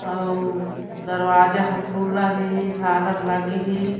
आउ दरवाजा ह खुल्ला हे झालर लगे हे।